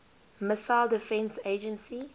missile defense agency